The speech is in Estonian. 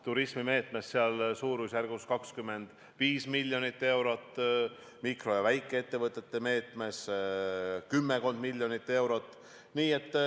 Turismimeetmes on suurusjärgus 25 miljonit eurot, mikro- ja väikeettevõtete meetmes kümmekond miljonit eurot.